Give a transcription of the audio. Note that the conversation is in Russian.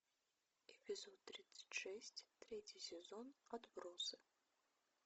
эпизод тридцать шесть третий сезон отбросы